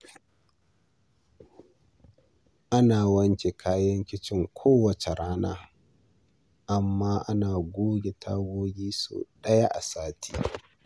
Ana wanke kayan kicin kowace rana, amma ana goge tagogi sau ɗaya a sati.